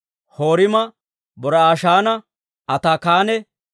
Horima, Bor"ashaana, Ataakanne